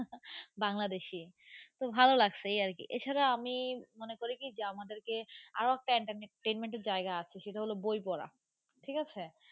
বাংলাদেশি তো ভাল লাগছে, এই আর কি. এছাড়া আমি মনে করি কি যে আমাদেরকে আরও একটা entertainment এর জায়গা আছে সেটা হল বই পড়া ঠিক আছে.